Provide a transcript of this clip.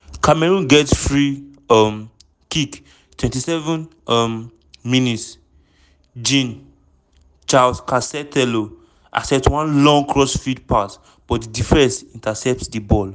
cameroon get free um kick 27 um mins- jean-charles castelletto attempt one long cross field pass but di defence intercept di ball.